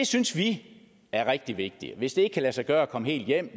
synes det er rigtig vigtigt og at hvis det ikke kan lade sig gøre at komme helt hjem